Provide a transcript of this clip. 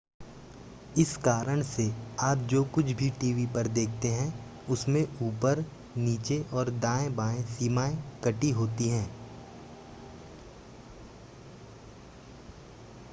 इस कारण से आप जो कुछ भी टीवी पर देखते हैं उसमें ऊपर नीचे और दाएं-बाएं सीमाएं कटी होती हैं